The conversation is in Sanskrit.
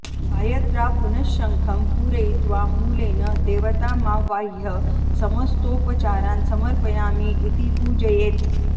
गायत्र्या पुनश्शङ्खं पूरयित्वा मूलेन देवतामावाह्य समस्तोपचारान् समर्पयामि इति पूजयेत्